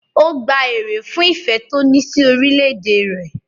Ó gba èrè fún ìfẹ́ tó ní sí orílẹ̀-èdè rẹ̀.